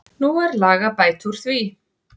Nú er lag að bæta úr því.